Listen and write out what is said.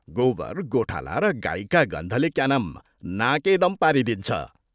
गोबर, गोठाला र गाईका गन्धले, क्या नाम, नाकेदम पारिदिन्छ।